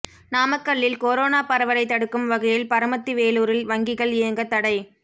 நாமக்கல்லில் கொரோனா பரவலை தடுக்கும் வகையில் பரமத்தி வேலூரில் வங்கிகள் இயங்க தடை